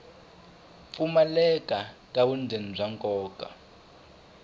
pfumaleka ka vundzeni bya nkoka